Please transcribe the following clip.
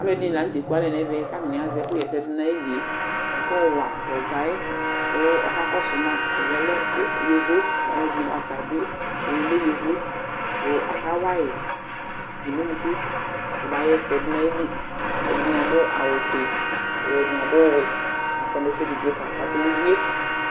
Alʋɛdɩnɩ la nʋ tɛ kʋ atanɩ ekualɛ nʋ ɛvɛ kʋ atanɩ azɛ ɛkʋɣa ɛsɛ dʋ nʋ ayili yɛ kʋ akayɔ wa tʋ ɔga yɛ kʋ ɔkakɔsʋ ma Ɔga yɛ lɛ y yovo Alʋɛdɩnɩ, ata bɩ ɛdɩnɩ lɛ yovo kʋ akawa yɩ tʋ nʋ unuku kɔbaɣa ɛsɛ dʋ nʋ ayili Ɛdɩnɩ adʋ awʋfue kʋ ɛdɩnɩ adʋ ɔwɛ kʋ akɔ nʋ ɛfʋ edigbo kakatʋ nʋ uvi yɛ